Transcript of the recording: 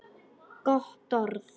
Gott orð.